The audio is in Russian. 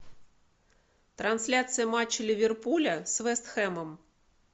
трансляция матча ливерпуля с вест хэмом